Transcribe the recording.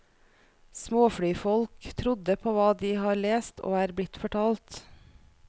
Småflyfolk trodde på hva de har lest og er blitt fortalt.